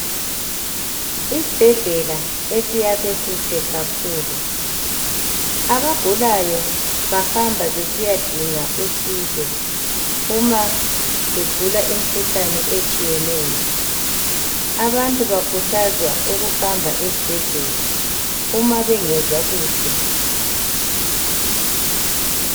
Isibhedlela esiyakhwe kuhle kakhulu .Abagulayo bahamba besiyadinga usizo uma egula imkhuhlane etshiyeneyo abantu bakhuthazwa ukuhamba esibhedlela uma bengezwa kuhle .